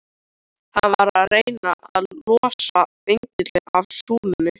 Hann var að reyna að losa engilinn af súlunni!